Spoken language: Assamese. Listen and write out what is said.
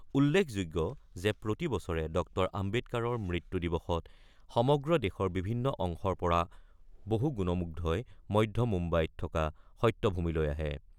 উল্লেখযোগ্য যে প্ৰতিবছৰে ড আম্বেদকাৰৰ মৃত্যু দিৱসত সমগ্ৰ দেশৰ বিভিন্ন অংশৰ পৰা বহু গুণমুগ্ধই মধ্য মুম্বাইত থকা সত্যভূমিলৈ আহে।